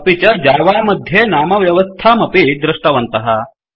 अपि च जावा मध्ये नामव्यवस्थामपि दृष्टवन्तः